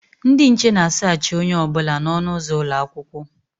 Ndị nche na a saachị onye ọbụla na ọnụ ụzọ ụlọakwụkwọ